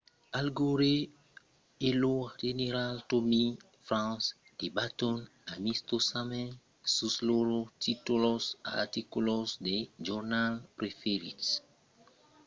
al gore e lo general tommy franks debaton amistosament sus lors títols d'articles de jornals preferits lo de gore èra quand the onion raportèt qu'el e tipper èran a aver lo sèxe melhor de lors vidas aprèp sa desfacha electorala de 2000